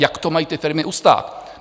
Jak to mají ty firmy ustát?